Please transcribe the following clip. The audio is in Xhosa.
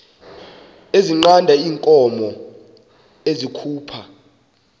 ezinqanda iinkomo ezikhupha